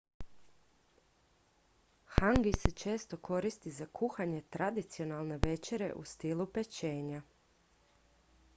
hangi se često koristi za kuhanje tradicionalne večere u stilu pečenja